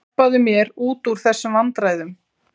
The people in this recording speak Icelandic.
Hjálpaðu mér út úr þessum vandræðum.